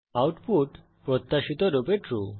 output প্রত্যাশিত রূপে true